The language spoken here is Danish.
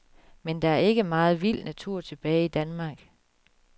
Men der er ikke meget vild natur tilbage i Danmark.